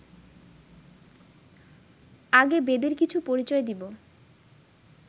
আগে বেদের কিছু পরিচয় দিব